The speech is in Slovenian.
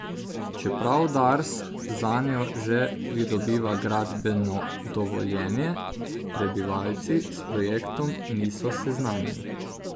Čeprav Dars zanjo že pridobiva gradbeno dovoljenje, prebivalci s projektom niso seznanjeni.